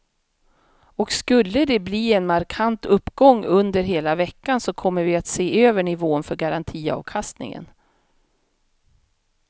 Och skulle de bli en markant uppgång under hela veckan så kommer vi att se över nivån för garantiavkastningen.